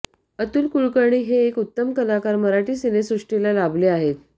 अतुल कुलकर्णी हे एक उत्तम कलाकार मराठी सिनेसृष्टीला लाभले आहेत